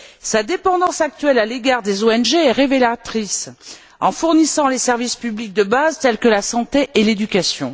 Sa dépendance actuelle à l'égard des ONG est révélatrice au niveau des services publics de base tels que la santé et l'éducation.